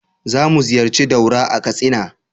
Za mu ziyarci Daura a Katsina.